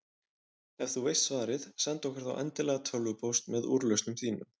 Ef þú veist svarið, sendu okkur þá endilega tölvupóst með úrlausnum þínum.